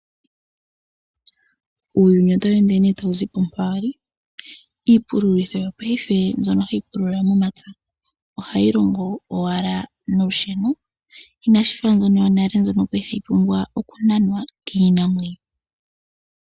Uuyuni otawu ende tawu zipo mpa wa li iipululitho mbyono hayi pulula momapya ohayi longo owala nolusheno ina shi fa mbyono yonale yali hayi pumbwa okunanwa kiinamwenyo.